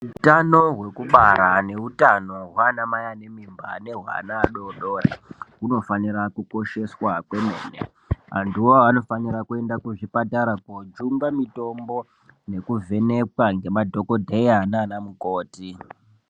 Utano hwekubara neutano hwana mai ane mimba ane hwana adodori hunofanira kukosheswa kwemene anthuwo anofanira kuenda kuzvipatara koojungwa mitombo nekuvhenekwa ngemadhokodheya nanamukoti.